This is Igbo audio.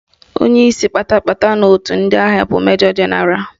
Onyeisi kpata kpata n'otu ndị agha bụ Majọ Jenaralụ